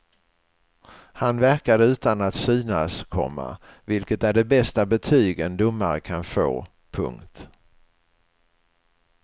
Han verkade utan att synas, komma vilket är det bästa betyg en domare kan få. punkt